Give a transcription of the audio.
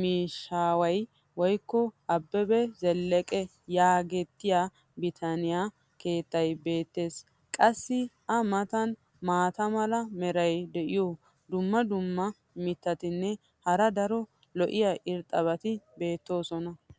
miishshaaway woykko abebe zeleqee yaagetettiya bitaniya keettay beettees. qassi a matan maata mala meray diyo dumma dumma mittatinne hara daro lo'iya irxxabati beettoosona.